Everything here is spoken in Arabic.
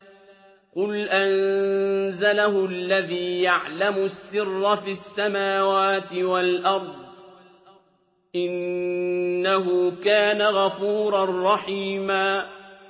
قُلْ أَنزَلَهُ الَّذِي يَعْلَمُ السِّرَّ فِي السَّمَاوَاتِ وَالْأَرْضِ ۚ إِنَّهُ كَانَ غَفُورًا رَّحِيمًا